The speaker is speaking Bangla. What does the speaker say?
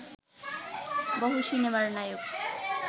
বহু সিনেমার নায়ক